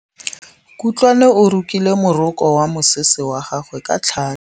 Kutlwanô o rokile morokô wa mosese wa gagwe ka tlhale.